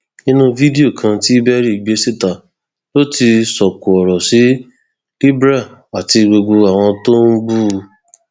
nínú fídíò kan tí berry gbé síta ló ti sọkò ọrọ sí libre àti gbogbo àwọn tó ń bú u